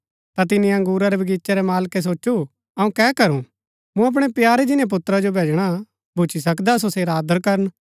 ता तिनी अंगुरा रै बगीचे रै मालकै सोचु अऊँ कै करू मूँ अपणै प्यारे जिन्‍नै पुत्रा जो भैजणा भूच्ची सकदा सो सेरा आदर करन